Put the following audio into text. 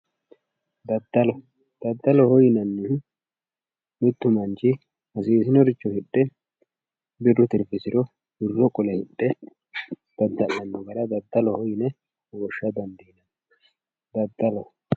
daddalo. daddaloho yinannihu mittu manchi hasiisinoricho hidhe birru tirfisiro wirro qole hidhe dadda'lanno gara daddaloho yine woshsha dandiinanni daddalo